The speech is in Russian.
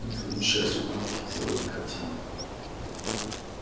мы твоему счастью помехи сделать не хотим